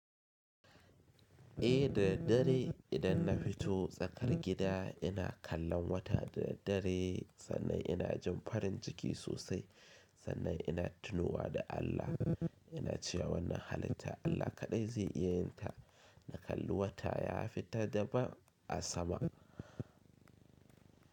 Eh da daddare idan na fito tsakar gida ina kallon wata da daddare sannan ina jin farin jiki sosai, sannan ina tunowa da Allah. Ina cewa wannan halitta Allah kaɗai zai iya yin ta. Na kalli wata ya fita daban a sama.